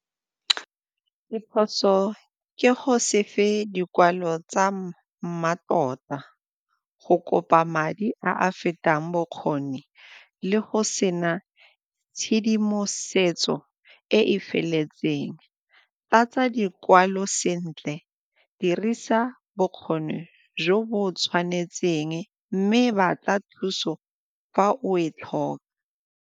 Diphoso ke go se fe dikwalo tsa mmatota, go kopa madi a a fetang bokgoni le go sena tshedimosetso e e feletseng, tlatsa dikwalo sentle, dirisa bokgoni jo bo tshwanetseng mme batla thuso fa o e tlhoka.